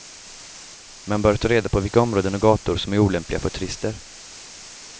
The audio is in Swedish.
Man bör ta reda på vilka områden och gator som är olämpliga för turister.